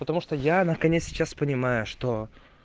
потому что я наконец сейчас понимаю что